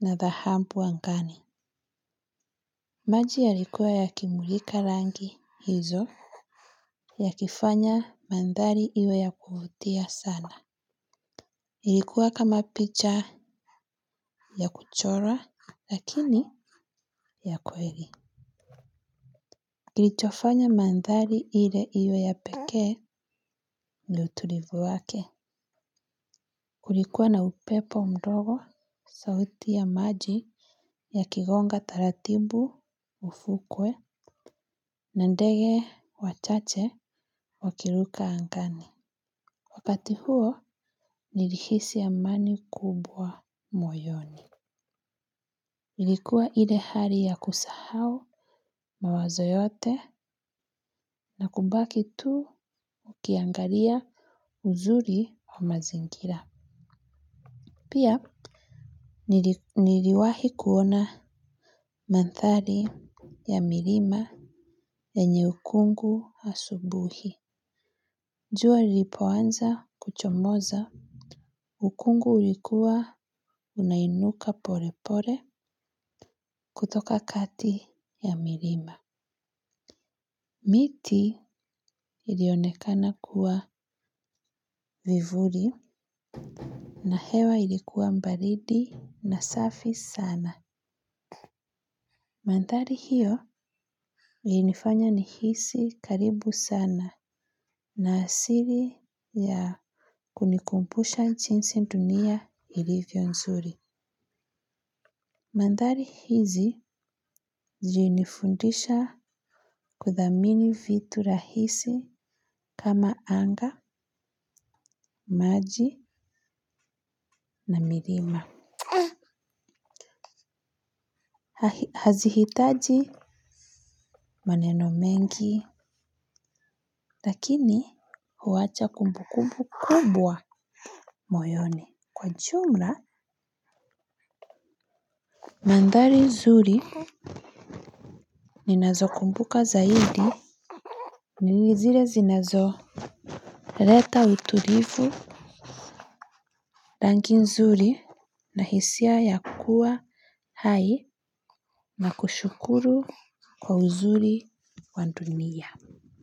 na dhahabu angani. Maji yalikuwa yakimulika rangi hizo. Yakifanya mandhari iwe ya kuvutia sana. Ilikuwa kama picha ya kuchora, lakini ya kweli. Kilichofanya mandhari ile iwe ya pekee, ni utulivu wake. Kulikuwa na upepo mdogo, sauti ya maji, yakigonga taratibu ufukwe, na ndege wachache wakiruka angani. Wakati huo, nilihisi amani kubwa moyoni. Nilikuwa ile hali ya kusahau mawazo yote, na kubaki tu ukiangalia uzuri wa mazingira. Pia niliwahi kuona mandhari ya milima, yenye ukungu asubuhi. Jua ilipoanza kuchomoza, ukungu ulikuwa unainuka pole pole kutoka kati ya milima. Miti ilionekana kuwa vivuli na hewa ilikuwa baridi na safi sana. Mandhari hio ilinifanya nihisi karibu sana, na asili ya kunikumbusha jinsi dunia ilivyo nzuri. Mandhari hizi zilinifundisha kudhamini vitu rahisi kama anga, maji na milima. Hazihitaji maneno mengi, lakini huwacha kumbu kumbu kubwa moyoni. Kwa jumla, mandhari nzuri ninazo kumbuka zaidi ni nilizile zinazo leta utulivu rangi nzuri na hisia ya kuwa hai. Na kushukuru kwa uzuri wa dunia.